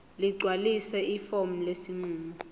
ligcwalise ifomu lesinqumo